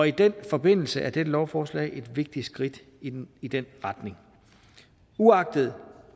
i den forbindelse er dette lovforslag et vigtigt skridt i den i den retning uagtet